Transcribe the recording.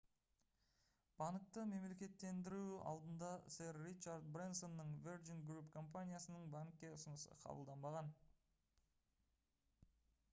банкты мемлекеттендіру алдында сэр ричард брэнсонның virgin group компаниясының банкке ұсынысы қабылданбаған